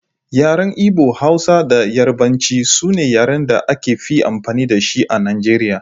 Yaren Igbo, Hausa da Yarbanci sune yaren da aka fi amfani da shi a Najeriya.